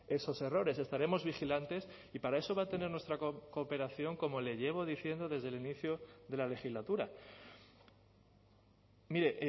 esos errores estaremos vigilantes y para eso va a tener nuestra cooperación como le llevo diciendo desde el inicio de la legislatura mire